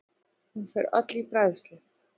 Hún fer öll í bræðslu.